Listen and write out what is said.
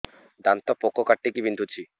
ଦାନ୍ତ ପୋକ କାଟିକି ବିନ୍ଧୁଛି